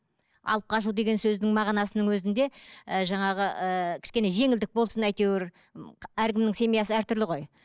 алып қашу деген сөздің мағынасының өзінде і жаңағы ііі кішкене жеңілдік болсын әйтеуір әркімнің семьясы әртүрлі ғой